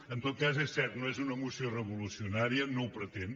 en tot cas és cert no és una moció revolucionària no ho pretén